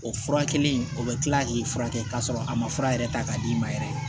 O furakɛli o bɛ kila k'i furakɛ k'a sɔrɔ a ma fura yɛrɛ ta k'a d'i ma yɛrɛ